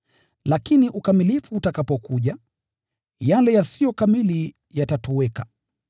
Lakini ukamilifu ukija, yale yasiyo kamili hutoweka.